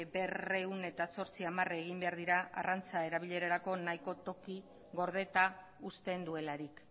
berrehun eta zortzi amarre egin behar dira arrantza erabilerarako nahiko toki gordeta uzten duelarik